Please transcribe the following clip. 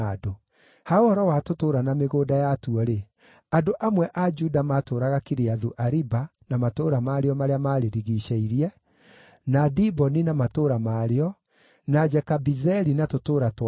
Ha ũhoro wa tũtũũra na mĩgũnda yatuo-rĩ, andũ amwe a Juda maatũũraga Kiriathu-Ariba na matũũra marĩo marĩa marĩrigiicĩirie, na Diboni na matũũra marĩo, na Jekabizeeli na tũtũũra twarĩo,